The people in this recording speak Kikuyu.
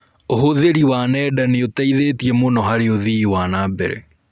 ũhũthĩri wa nenda nĩũteithĩtie mũno harĩ ũthii wa nambere.